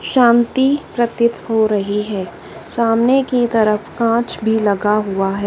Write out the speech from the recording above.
शांति प्रतीत हो रही है सामने की तरफ कांच भी लगा हुआ है।